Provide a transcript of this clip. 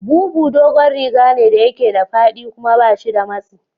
Bubu dogon rigane da yake da faɗi kuma bashi da matsi.